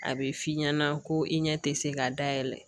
A bɛ f'i ɲɛna ko i ɲɛ tɛ se k'a dayɛlɛ